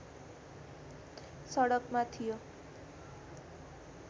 सडकमा थियो